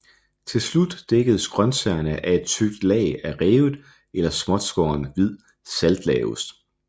Til slut dækkes grønsagerne af et tykt lag af revet eller småtskårent hvid saltlageost